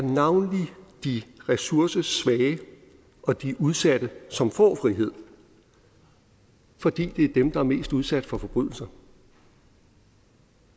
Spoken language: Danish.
de ressourcesvage og de udsatte som får frihed fordi det er dem der er mest udsat for forbrydelser